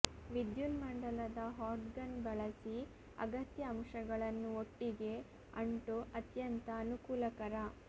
ವಿಧ್ಯುನ್ಮಂಡಲದ hot gun ಬಳಸಿ ಅಗತ್ಯ ಅಂಶಗಳನ್ನು ಒಟ್ಟಿಗೆ ಅಂಟು ಅತ್ಯಂತ ಅನುಕೂಲಕರ